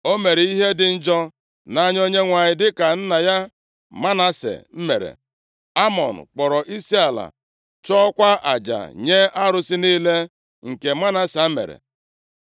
O mere ihe dị njọ nʼanya Onyenwe anyị dịka nna ya Manase mere. Amọn kpọrọ isiala, chụọkwa aja nye arụsị niile, nke Manase mere.